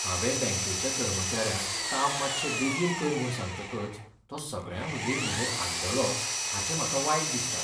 हांवें बँकेच्या कर्मचाऱ्याक काम मात्शें बेगीन कर म्हूण सांगतकच तो सगळ्यां हुजीर म्हजेर आड्डलो हाचें म्हाका वायट दिसता.